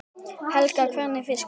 Helga: Hvernig fiska?